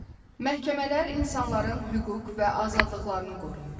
Məhkəmələr insanların hüquq və azadlıqlarını qoruyur.